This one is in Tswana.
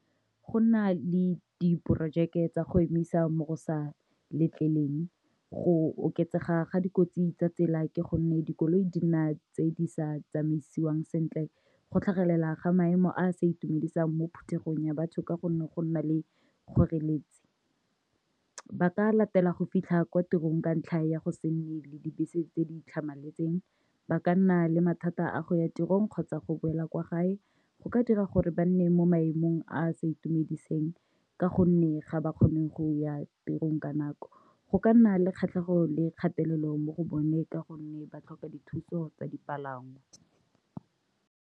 Go na le diporojeke tsa go emisa mo go sa letlelweng, go oketsega ga dikotsi tsa tsela ke gonne dikoloi di nna tse di sa tsamaisiwang sentle, go tlhagelela ga maemo a a sa itumedisang mo phuthegong ya batho ka gonne go nna le kgoreletsi. Ba ka latela go fitlha kwa tirong ka ntlha ya go se nne le dibese tse di tlhamaletseng, ba ka nna le mathata a go ya tirong kgotsa go boela kwa gae, go ka dira gore ba nne mo maemong a a sa itumediseng ka gonne ga ba kgone go ya tirong ka nako. Go ka nna le kgatlhego le kgatelelo mo go bone ka gonne ba tlhoka dithuso tsa dipalangwa.